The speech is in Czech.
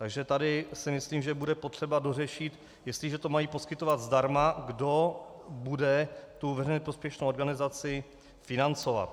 Takže tady si myslím, že bude potřeba dořešit, jestliže to mají poskytovat zdarma, kdo bude tu veřejně prospěšnou organizaci financovat.